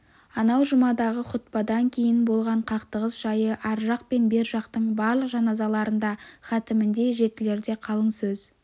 анау жұмадағы хұтпадан кейін болған қақтығыс жайы ар жақ пен бер жақтың барлық жаназаларында хатімінде жетілерде қалың сөз